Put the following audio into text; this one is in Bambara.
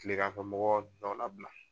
Tileganfɛmɔgɔɔ dɔw labila